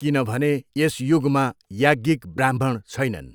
किनभने यस युगमा याज्ञिक ब्राह्मण छैनन्।